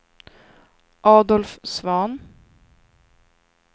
Adolf Svahn